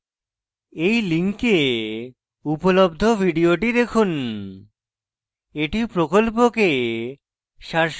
এই link উপলব্ধ video দেখুন